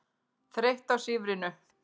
Þreytt á sífrinu.